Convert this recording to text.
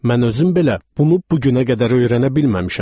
Mən özüm belə bunu bu günə qədər öyrənə bilməmişəm.